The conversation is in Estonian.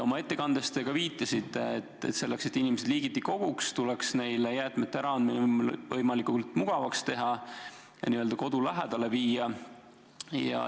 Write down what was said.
Oma ettekandes te ka viitasite, et selleks, et inimesed liigiti koguks, tuleks neile jäätmete äraandmine võimalikult mugavaks teha ja võimalused n-ö kodu lähedal tagada.